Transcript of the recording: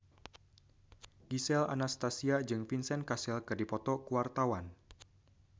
Gisel Anastasia jeung Vincent Cassel keur dipoto ku wartawan